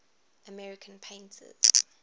american painters